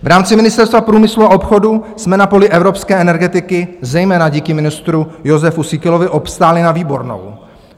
V rámci Ministerstva průmyslu a obchodu jsme na poli evropské energetiky zejména díky ministru Jozefu Síkelovi obstáli na výbornou.